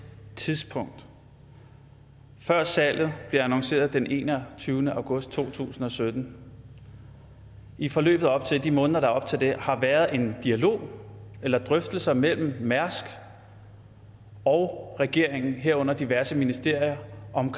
tidspunkt før salget bliver annonceret den enogtyvende august to tusind og sytten i forløbet op til det i månederne op til det har været en dialog eller drøftelser mellem ap møller mærsk as og regeringen herunder diverse ministerier om